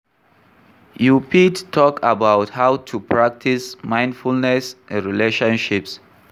You fit talk about how to practice mindfulness in relationships.